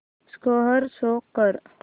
score show कर